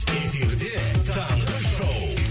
эфирде таңғы шоу